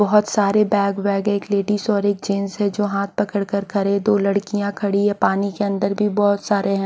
बहुत सारे बैग वेग हैं एक लेडीज और एक जेंट्स है जो हाथ पकड़ कर खड़े है दो लड़कियां खड़ी है पानी के अंदर भी बहुत सारे हैं।